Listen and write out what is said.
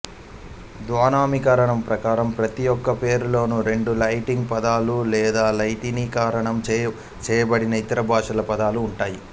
ద్వినామీకరణం ప్రకారం ప్రతిమొక్క పేరులోను రెండు లాటిన్ పదాలు లేదా లాటినీకరణం చేయబడిన ఇతర భాషల పదాలు ఉంటాయి